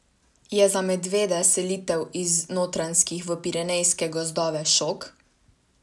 Je za medvede selitev iz notranjskih v pirenejske gozdove šok?